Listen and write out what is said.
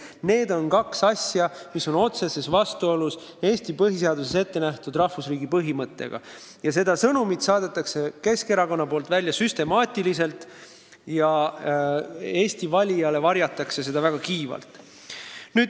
Need on asjad, mis on otseses vastuolus Eesti põhiseaduses ette nähtud rahvusriigi põhimõttega, aga sellist sõnumit saadab Keskerakond välja süstemaatiliselt, varjates seda Eesti valija eest väga kiivalt.